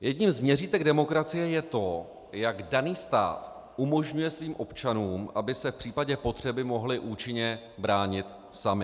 Jedním z měřítek demokracie je to, jak daný stát umožňuje svým občanům, aby se v případě potřeby mohli účinně bránit sami.